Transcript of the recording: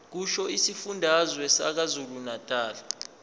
kusho isifundazwe sakwazulunatali